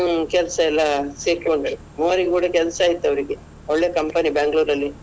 ಹ್ಮ್ ಕೆಲಸ ಎಲ್ಲ ಸೇರ್ಕೊಂಡ್ರು ಮೂವರಿಗೆ ಕೂಡ ಕೆಲ್ಸ ಆಯ್ತು ಅವ್ರಿಗೆ ಒಳ್ಳೆ company Bangalore ನಲ್ಲಿ.